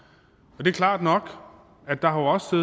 og det er klart nok at der også